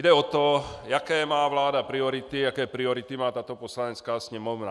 Jde o to, jaké má vláda priority, jaké priority má tato Poslanecká sněmovna.